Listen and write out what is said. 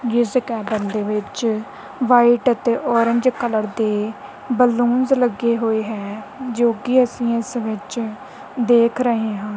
ਜਿਸ ਗਾਰਡਨ ਦੇ ਵਿੱਚ ਵਾਈਟ ਅਤੇ ਔਰੰਜ ਕਲਰ ਦੇ ਬਲੂਨਸ ਲੱਗੇ ਹੋਏ ਹੈ ਜੋ ਕਿ ਅਸੀਂ ਇਸ ਵਿੱਚ ਦੇਖ ਰਹੇ ਹਾਂ।